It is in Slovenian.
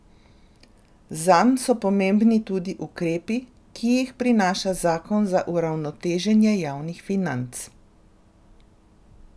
Zanj so pomembni tudi ukrepi, ki jih prinaša zakon za uravnoteženje javnih financ.